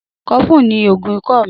Cofflin ni oogun ikọ mi.